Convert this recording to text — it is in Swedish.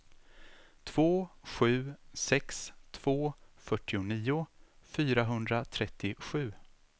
två sju sex två fyrtionio fyrahundratrettiosju